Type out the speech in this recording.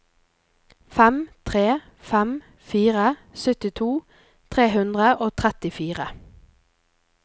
fem tre fem fire syttito tre hundre og trettifire